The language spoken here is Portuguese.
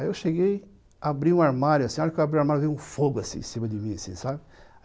Aí eu cheguei, abri o armário, assim, na hora que eu abri o armário veio um fogo, assim, em cima de mim, assim, sabe?